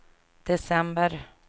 december